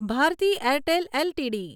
Bharati Airtel LTD